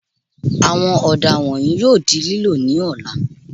Àwọn ọ̀dà wọ̀nyìí yóò di lílò ní ọ̀la